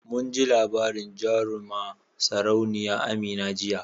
Munji labarin jaruma sarauniya Amina jiya